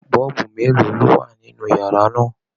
Bọ́ọ̀bu mélòó ló wà nínú yàrá náà?